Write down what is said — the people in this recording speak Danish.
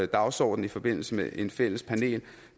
dagsorden i forbindelse med et fælles panel